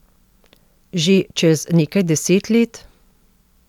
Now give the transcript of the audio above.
Že čez nekaj deset let?